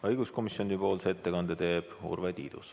Õiguskomisjoni ettekande teeb Urve Tiidus.